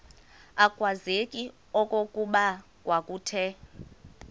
akwazeki okokuba kwakuthe